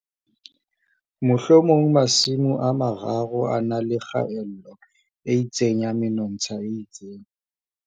Mohlomong Masimo a 3 a na le kgaello e itseng ya menontsha e itseng.